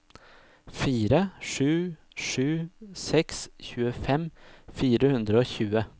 fire sju sju seks tjuefem fire hundre og tjue